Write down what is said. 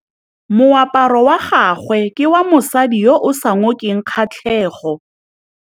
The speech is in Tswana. Moaparô wa gagwe ke wa mosadi yo o sa ngôkeng kgatlhegô.